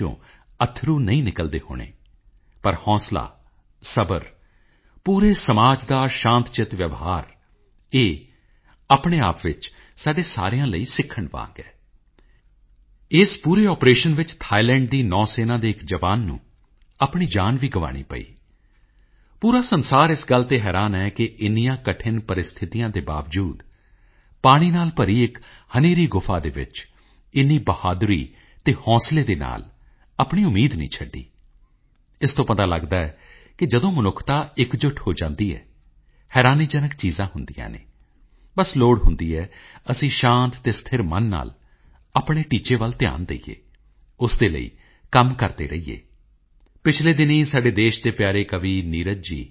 ਜਦੋਂ ਅਸੀਂ ਸੁਣਦੇ ਹਾਂ ਕਿ ਹਿਮਾਚਲ ਪ੍ਰਦੇਸ਼ ਵਿੱਚ ਸਮੁੰਦਰ ਤਲ ਤੋਂ 15000 ਫੁੱਟ ਦੀ ਉਚਾਈ ਵਾਲੇ ਖੇਤਰ ਵਿੱਚ ਵੀ ਮਤਦਾਨ ਕੇਂਦਰ ਸਥਾਪਿਤ ਕੀਤਾ ਜਾਂਦਾ ਹੈ ਤਾਂ ਅੰਡੇਮਾਨ ਅਤੇ ਨਿਕੋਬਾਰ ਦੇ ਦੀਪਸਮੂਹ ਵਿੱਚ ਦੂਰਦੁਰਾਡੇ ਦੇ ਦੀਪਾਂ ਵਿੱਚ ਵੀ ਵੋਟਿੰਗ ਦੀ ਵਿਵਸਥਾ ਕੀਤੀ ਜਾਂਦੀ ਹੈ ਅਤੇ ਤੁਸੀਂ ਗੁਜਰਾਤ ਦੇ ਵਿਸ਼ੇ ਬਾਰੇ ਤਾਂ ਜ਼ਰੂਰ ਸੁਣਿਆ ਹੋਣਾ ਕਿ ਗਿਰ ਦੇ ਜੰਗਲ ਵਿੱਚ ਇੱਕ ਦੂਰ ਦੇ ਖੇਤਰ ਵਿੱਚ ਇੱਕ ਪੋਲਿੰਗ ਬੂਥ ਜੋ ਸਿਰਫ ਇੱਕ ਵੋਟਰ ਲਈ ਹੈ ਕਲਪਨਾ ਕਰੋ ਕੇਵਲ ਇੱਕ ਵੋਟਰ ਲਈ ਜਦ ਇਨ੍ਹਾਂ ਗੱਲਾਂ ਨੂੰ ਸੁਣਦੇ ਹਾਂ ਤਾਂ ਚੋਣ ਆਯੋਗ ਉੱਪਰ ਮਾਣ ਹੋਣਾ ਬਹੁਤ ਸੁਭਾਵਿਕ ਹੈ ਉਸ ਇੱਕ ਵੋਟਰ ਦਾ ਧਿਆਨ ਰੱਖਦਿਆਂ ਹੋਇਆਂ ਉਸ ਵੋਟਰ ਨੂੰ ਉਸ ਦੇ ਵੋਟ ਪਾਉਣ ਦੇ ਅਧਿਕਾਰ ਦੀ ਵਰਤੋਂ ਦਾ ਮੌਕਾ ਮਿਲੇ ਇਸ ਦੇ ਲਈ ਚੋਣ ਆਯੋਗ ਦੇ ਕਰਮਚਾਰੀਆਂ ਦੀ ਪੂਰੀ ਟੀਮ ਦੂਰਦਰਾਜ ਦੇ ਖੇਤਰਾਂ ਵਿੱਚ ਜਾਂਦੀ ਹੈ ਅਤੇ ਉਹ ਵੋਟਿੰਗ ਦੀ ਵਿਵਸਥਾ ਕਰਦੇ ਹਨ ਅਤੇ ਇਹੀ ਤਾਂ ਸਾਡੇ ਲੋਕਤੰਤਰ ਦੀ ਖੂਬਸੂਰਤੀ ਹੈ